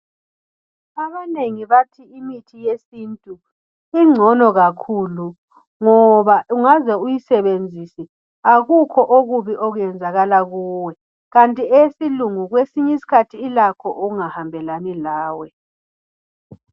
Abanengi bathi imithi yesintu ingcono kakhulu ngoba ungaze uyisebenzise akukho okubi okuyenzakala kuwe kanti eyesilungu kwesinye isikhathi ilakho okungahambelani lawe.